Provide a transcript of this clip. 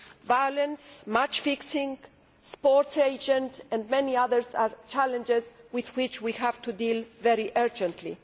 Violence, match fixing, sports agents and many issues are challenges with which we have to deal very urgently.